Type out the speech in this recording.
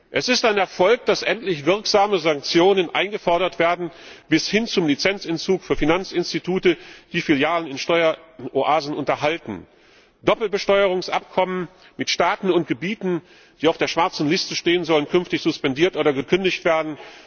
Es ist ein Erfolg, dass endlich wirksame Sanktionen eingefordert werden bis hin zum Lizenzentzug für Finanzinstitute, die Filialen in Steueroasen unterhalten. Doppelbesteuerungsabkommen mit Staaten und Gebieten, die auf der schwarzen Liste stehen, sollen künftig suspendiert oder gekündigt werden.